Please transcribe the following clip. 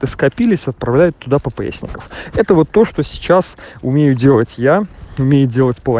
скопились отправляют туда поперечников это вот то что сейчас умею делать я умею